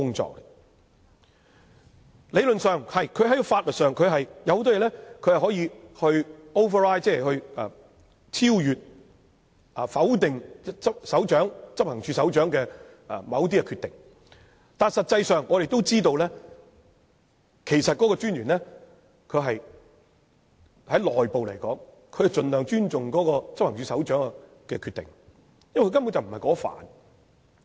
在理論上和在法律上，他有很多地方可以超越、否定執行處首長的某些決定，但實際上，大家也知道，就內部而言，專員會盡量尊重執行處首長的決定，因為他根本不熟悉有關範疇。